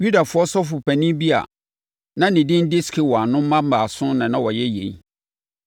Yudafoɔ sɔfopanin bi a na ne din de Skewa no mma baason na na wɔyɛ yei.